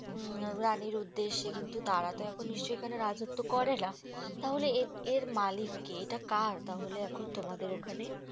উম রানীর উদ্দেশ্যে কিন্তু তারাতো এখন নিশ্চয় এখানে রাজত্ব করেনা ।তাহলে এ এর মালিক কে? এটা কার তাহলে এখন তোমাদের ওখানে?